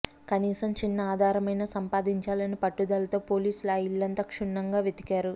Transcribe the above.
కనీసం చిన్నఆధారమైనా సంపాదించాలనే పట్టుదలతో పోలీసులు ఆ ఇల్లంతా క్షుణ్ణంగా వెతికారు